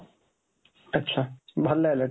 ଆଚ୍ଛା, ଭଲ ହେଲା